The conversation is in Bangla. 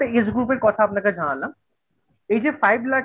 age group এর কথা আপনাকে জানালাম এই যে five লাখের